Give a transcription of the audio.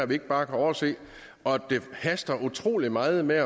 vi ikke bare kan overse og at det haster utrolig meget med